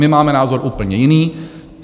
My máme názor úplně jiný.